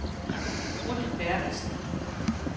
Ruth Bertelsen